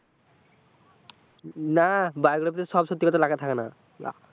না, biography সব সত্যি কথা লেখা থাকে না।